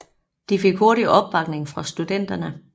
De fik hurtigt opbakning fra studenterne